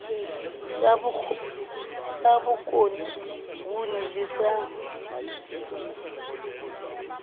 sa bokone nguni le sa